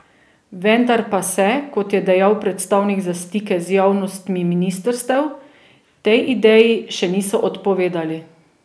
Vendar pa se, kot je dejal predstavnik za stike z javnostmi ministrstev, tej ideji še niso odpovedali.